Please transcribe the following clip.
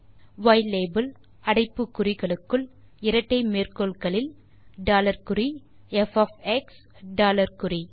யிலாபெல் அடைப்பு குறிகளுக்குள் இரட்டை மேற்கோள் குறிகளுக்குள் டாலர் குறி ப் ஒஃப் எக்ஸ் டாலர் குறி